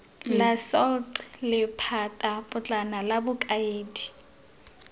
la salt lephatapotlana la bokaedi